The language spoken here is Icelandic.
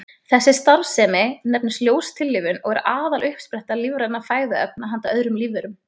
Þessi starfsemi nefnist ljóstillífun og er aðaluppspretta lífrænna fæðuefna handa öðrum lífverum.